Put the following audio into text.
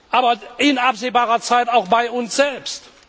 Aber in absehbarer Zeit auch bei uns selbst.